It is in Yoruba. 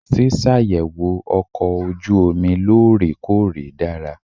Ṣíṣàyẹ̀wò ọkọ̀ ojú omi lóòrè-kóòrè dára.